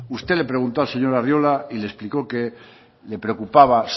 usted le preguntó al señor arriola y le explicó que le preocupaba